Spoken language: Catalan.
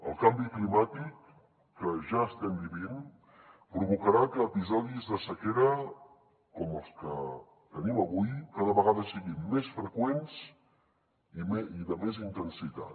el canvi climàtic que ja estem vivint provocarà que episodis de sequera com els que tenim avui cada vegada siguin més freqüents i de més intensitat